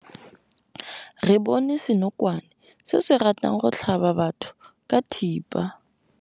Re bone senokwane se se ratang go tlhaba batho ka thipa.